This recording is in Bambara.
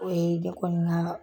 O ye ne kɔni ŋa